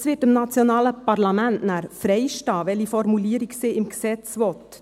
Es steht dem nationalen Parlament frei, welche Formulierung es im Gesetz haben will.